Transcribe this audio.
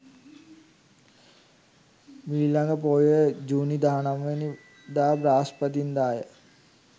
මීළඟ පෝය ජූනි 19 වැනි දා බ්‍රහස්පතින්දාය.